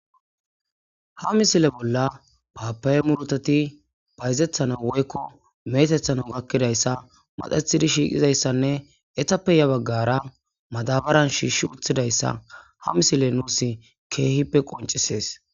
Ha misile bolla paapa7e murutati bayzethana woykko meetethana gakkidayssa maxathidi shiiqizayssanne etappeya baggara madabaran shiishsh uthidayssa ha misile nuus keehippe qoncisees.